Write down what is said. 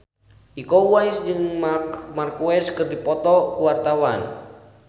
Iko Uwais jeung Marc Marquez keur dipoto ku wartawan